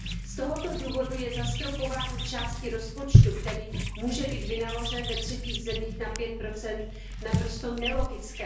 Z tohoto důvodu je zastropování části rozpočtu, který může být vynaložen ve třetích zemích, na pět procent naprosto nelogické.